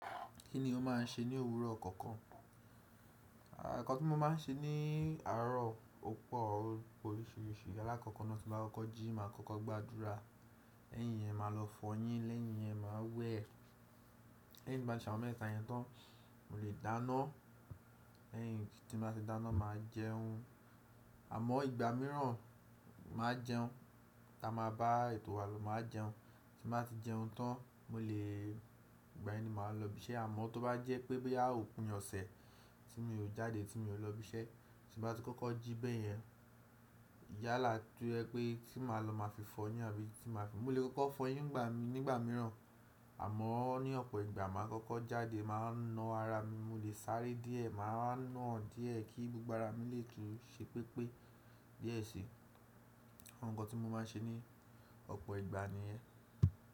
Kí ni o máà ń ṣe ní òwúrọ̀ kọ̀ọ̀kan? Ǹkan tí mo máa ń ṣe ní àárọ̀, ọ̀pọ̀ òpe oríṣiríṣi. Alákọ̀kọ̀ náà, tí mo bá kọ́kọ́ jí, màá kọ́kọ́ gbàdúrà. Lẹ́yìn yẹn, màá lọ fọyín. Lẹ́yìn yẹn, màá wẹ̀. Lẹ́yìn tí mo bá ṣàwọn mẹ́ta yẹn tán, mo lè dáná. Lẹ́yìn tí mo bá ti dáná, màá jẹun. Àmọ́ ìgbà mìíràn, màá jẹun. Táa máa bá ètò wa ló máa jẹun. Tí mo bá ti jẹun tán, mo lè, igbá yẹn ni màá lọ ibi iṣẹ́. Àmọ́ tó bá jẹ́ pé, bóyá, jẹ́ pé òpin ọ̀sẹ̀ tí mi ò jáde, tí mi ò lọ ibi iṣẹ́, tí mo bá ti kọ́kọ́ jí bẹ́ẹ̀ yẹn, yálà tó jẹ́ pé tí màá lọ, màá fi fọyín àbí tí màá fi, mo lè kọ́kọ́ fọyín nígbà mìíràn. Àmọ́ ní ọ̀pọ̀ ìgbà, màá kọ́kọ́ jáde, màá na ara mi, mo lè sáré díẹ̀, màá ń na díẹ̀ kí gbogbo ara mi lè tó ṣe pépé díẹ̀ sí i. Awon nko tí mo máa ń ṣe ní ọ̀pọ̀ ìgbà ni yẹn.